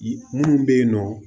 Yi munnu be yen nɔ